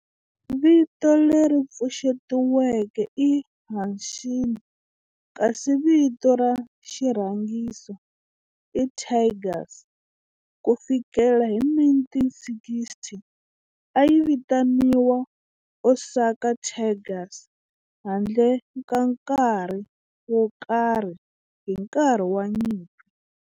Vito leri pfuxetiweke i Hanshin kasi vito ra xirhangiso i Tigers. Ku fikela hi 1960, a yi vitaniwa Osaka Tigers handle ka nkarhi wo karhi hi nkarhi wa nyimpi.